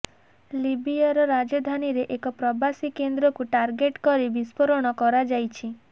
ଲିବିୟାର ରାଜଧାନୀରେ ଏକ ପ୍ରବାସୀ କେନ୍ଦ୍ରକୁ ଟାର୍ଗେଟ କରି ବିସ୍ଫୋରଣ କରାଯାଇଛି